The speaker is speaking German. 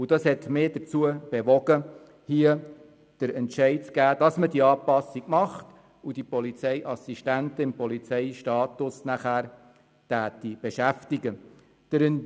Das hat mich dazu bewogen, diese Anpassung vorzunehmen, sodass die Polizeiassistenzen im Polizeistatus beschäftigt werden.